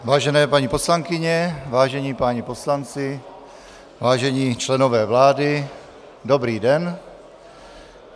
Vážené paní poslankyně, vážení páni poslanci, vážení členové vlády, dobrý den.